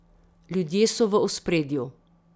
Ljudje so v ospredju.